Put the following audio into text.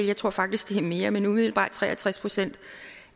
jeg tror faktisk det er mere men umiddelbart tre og tres procent